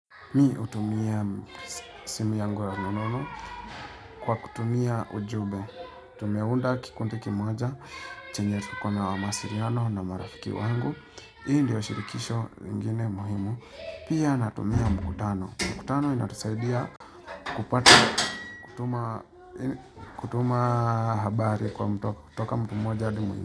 Mi hutumia simu yangu ya rununu kwa kutumia ujumbe. Tumeunda kikundi kimoja chenye kikona mawasiliano na marafiki wangu. Hii ndiyo shirikisho ingine muhimu. Pia natumia mkutano. Mkutano inatusaidia kupata kutuma kutuma habari kwa mtu kutoka mtu mmoja hadi.